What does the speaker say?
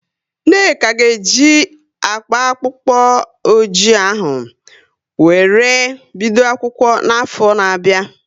Nneka ga e ji akpa akpụkpọ oji ahụ wéré bido akwụkwọ n'afọ na bia